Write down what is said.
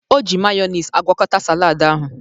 O ji mayọnis agwọkọta salad ahụ.